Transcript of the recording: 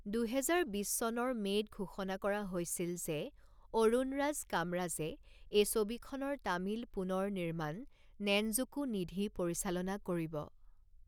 দুহেজাৰ বিছ চনৰ মে'ত ঘোষণা কৰা হৈছিল যে অৰুণৰাজ কামৰাজে এই ছবিখনৰ তামিল পুনৰ নিৰ্মাণ 'নেনজুকু নিধি' পৰিচালনা কৰিব।